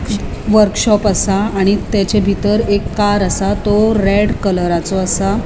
वर्कशॉप असा आणि ताचे बितर एक कार असा तो रेड कलराचो असा.